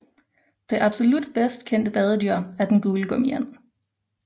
Det absolut bedst kendte badedyr er den gule gummiand